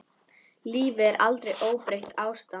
Lífið er aldrei óbreytt ástand.